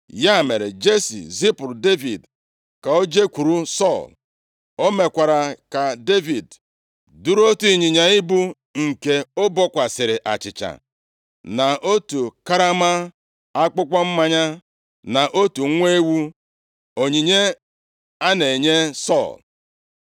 Ya mere Jesi zipụrụ Devid ka o jekwuru Sọl. O mekwara ka Devid duru otu ịnyịnya ibu nke o bukwasịrị achịcha, na otu karama akpụkpọ mmanya, na otu nwa ewu, onyinye a na-enye Sọl.